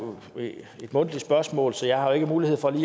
et mundtligt spørgsmål så jeg har ikke mulighed for